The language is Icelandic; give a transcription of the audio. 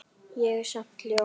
En ég er samt ljón.